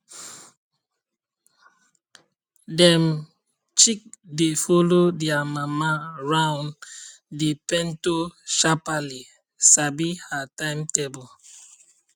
dem chick dey follow dia mama round the pento sharpaly sabi her timetable